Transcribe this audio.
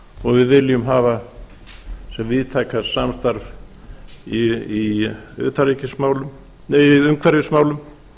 og við viljum hafa sem víðtækast samstarf í umhverfismálum